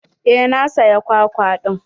Eh na saya kwakwa ɗin.